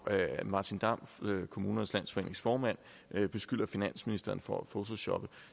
martin damm kommunernes landsforenings formand beskylder finansministeren for at photoshoppe